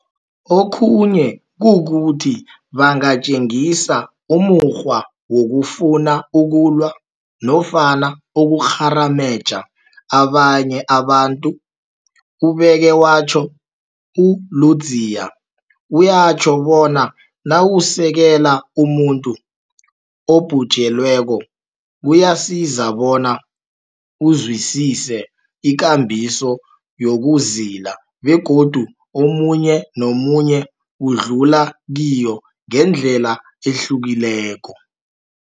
Okhunye kukuthi bangatjengisa umukghwa wokufuna ukulwa nofana ukukgharameja abanye abantu, ubeke watjho. U-Ludziya uyatjho bona nawusekela umuntu obhujelweko, kuyasiza bona uzwisise ikambiso yokuzila begodu omunye nomunye udlula kiyo ngendlela ehlukileko.